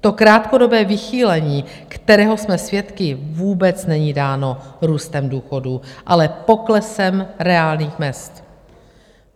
To krátkodobé vychýlení, kterého jsme svědky, vůbec není dáno růstem důchodů, ale poklesem reálných mezd.